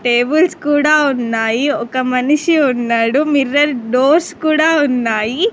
Tables కూడా ఉన్నాయి ఒక మనిషి ఉన్నాడు మిర్రర్ డోర్స్ కూడా ఉన్నాయి.